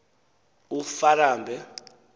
ufarambe